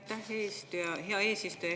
Aitäh, hea eesistuja!